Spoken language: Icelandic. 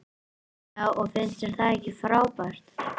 Já og finnst þér það ekki frábært?